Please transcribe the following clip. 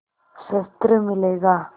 शस्त्र मिलेगा